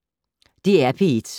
DR P1